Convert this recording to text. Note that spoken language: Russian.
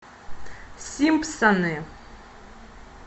симпсоны